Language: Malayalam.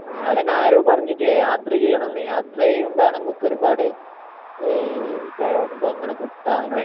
ആഹ് അതന്നെ ആരോ പറഞ്ഞ് യാത്ര ചെയ്യണം എന്ന് യാത്ര ചെയ്യുമ്പോ നമുക്ക് ഒരുപാട് ഈഹ് ഇതേ അനുഭവങ്ങള് കിട്ടാൻ